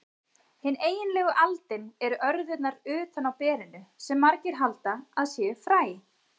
Hin eiginlegu aldin eru örðurnar utan á berinu, sem margir halda að séu fræ.